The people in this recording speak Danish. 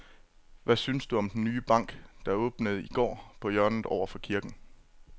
Hvad synes du om den nye bank, der åbnede i går dernede på hjørnet over for kirken?